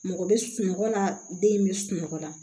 Mɔgɔ bɛ sunɔgɔ la den in bɛ sunɔgɔ la